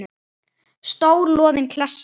Stór loðin klessa.